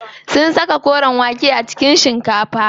Sun saka kore wake a cikin shikafa.